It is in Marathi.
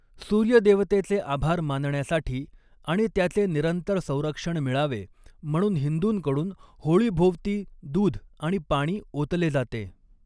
सूर्य देवतेचे आभार मानण्यासाठी आणि त्याचे निरंतर संरक्षण मिळावे म्हणून हिंदूंकडून होळीभोवती दूध आणि पाणी ओतले जाते.